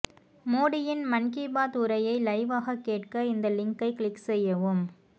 மோடியின் மன் கி பாத் உரையை லைவ்வாக கேட்க இந்த லிங்கை க்ளிக் செய்யவும்